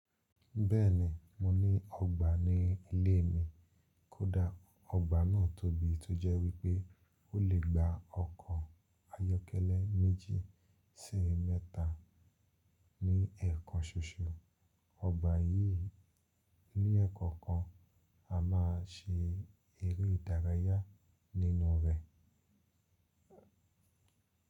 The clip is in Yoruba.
Bẹ́ẹ̀ni, mo ní ọgbà ní ilé mi. Kódà ọgbà náà tóbi tó jẹ́ wípé ó lè gba ọkọ̀ ayọ́kẹ́lẹ́ méjì sí mẹ́ta ní ẹ̀ẹ̀kan ṣoṣo. Ọgbà yìí ní ẹ̀kọ̀kan a máa ṣe eré ìdárayá nínú rẹ.